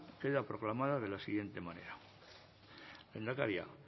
queda proclamada de la siguiente manera lehendakaria